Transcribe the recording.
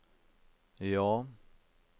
ja